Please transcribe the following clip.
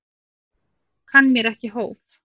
Kann mér ekki hóf.